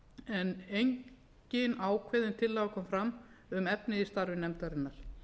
en engin ákveðin tillaga koma fram um efnið í starfi nefndarinnar